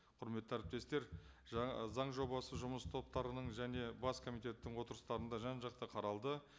құрметті әріптестер заң жобасы жұмыс топтарының және бас комитеттің отырыстарында жан жақты қаралды